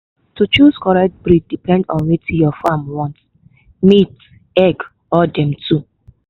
to choose correct breed depend on wetin your farm want—meat egg or them two